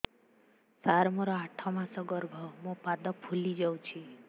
ସାର ମୋର ଆଠ ମାସ ଗର୍ଭ ମୋ ପାଦ ଫୁଲିଯାଉଛି